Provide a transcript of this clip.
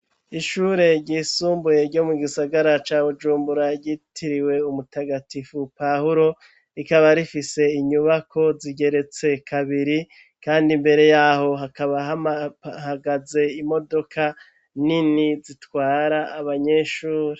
Ishure ryisumbuye ryo mu gisagara ca bujumbura ryitiriwe umutagatifu pahuro rikaba rifise inyubako zigeretse kabiri kandi mbere yaho hakaba hahagaze imodoka nini zitwara abanyeshure.